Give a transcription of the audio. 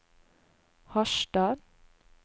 Harstad